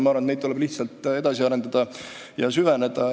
Ma arvan, et neid tuleb lihtsalt edasi arendada ja süvendada.